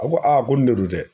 A ko a ko ni ne don